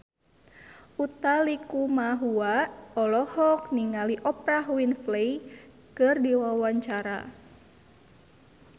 Utha Likumahua olohok ningali Oprah Winfrey keur diwawancara